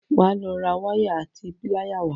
Wà á lo ra wáyà àti píláyà wá!